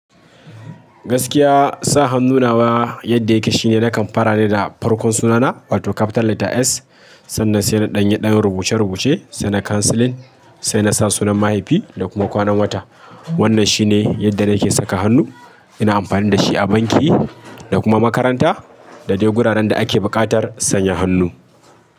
Gaskiya sa hannu nawa yadda yake shine nakan fara ne da farkon sunana wato capital letter S, sannan sai na ɗanye ɗanin rubuce rubuce, saina conceling sai na sa sunan mahaifi da kuma kwanan wata. Wannan shine yadda nake saka hannu. Ina amfani da shi a banki da kuma makaranta da dai guraren da ake buƙatar sanya hannu.